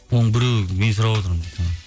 оның біреуін мен сұрап отырмын